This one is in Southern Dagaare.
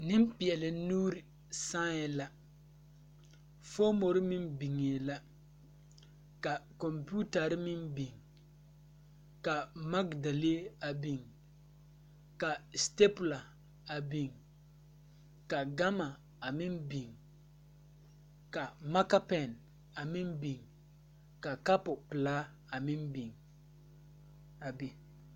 Neŋpeɛɛle nuure sããi la foomore meŋ biŋee la ka kɔmpiutarre meŋ biŋ ka magdalee a biŋ ka stapula a biŋ ka gama a meŋ biŋ ka maka pɛn a meŋ biŋ ka kapu pelaa a meŋ biŋ a be.